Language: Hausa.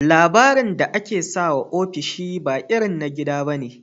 Labirin da akesawa ofishi ba irin na gida bane